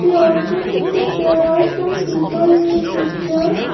and also see that there are some people in the picture.